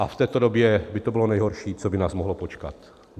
A v této době by to bylo nejhorší, co by nás mohlo potkat.